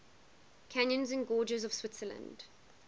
canyons and gorges of switzerland